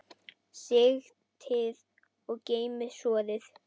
Sigtið og geymið soðið.